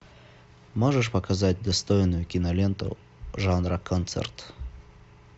можешь показать достойную киноленту жанра концерт